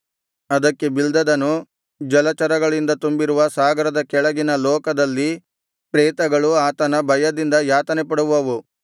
ಅದಕ್ಕೆ ಬಿಲ್ದದನು ಜಲಚರಗಳಿಂದ ತುಂಬಿರುವ ಸಾಗರದ ಕೆಳಗಿನ ಲೋಕದಲ್ಲಿ ಪ್ರೇತಗಳು ಆತನ ಭಯದಿಂದ ಯಾತನೆಪಡುವವು